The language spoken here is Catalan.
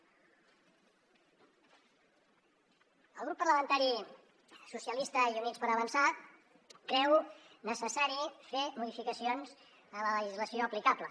el grup parlamentari socialistes i units per avançar creu necessari fer modificacions en la legislació aplicable